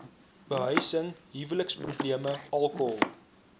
behuising huweliksprobleme alkohol